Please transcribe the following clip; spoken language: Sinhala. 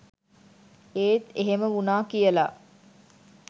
ඒත් එහෙම වුණා කියලා